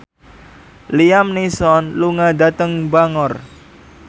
Liam Neeson lunga dhateng Bangor